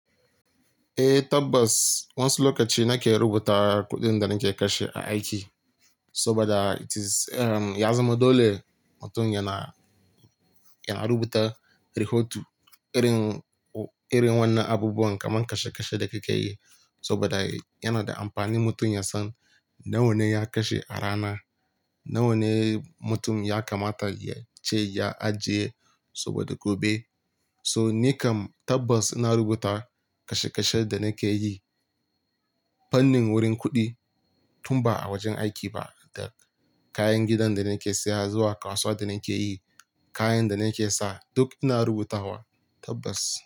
Eh tabbas, wansu lokaci nake rubuta kuɗin da nake kashe a aiki saboda it is, erm, ya zama dole mutum yana, yana rubuta rahoto, irin, irin wannan abubuwan kaman kashe kashen da kike yi saboda yana da amfani mutum ya san nawane ya kashe a rana, nawane mutum ya kamata yace ya ajiye saboda gobe. So ni kam tabbas ina rubuta kashe kashen da nake yi fannin wurin kuɗi tun ba a wajen aiki ba da kayan gidan da nake saya zuwa kasuwa da nake yi, kayan da nake sa duk ina rubutawa tabbas.